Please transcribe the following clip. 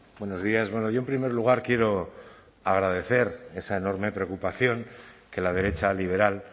buenos días bueno yo en primer lugar quiero agradecer esa enorme preocupación que la derecha liberal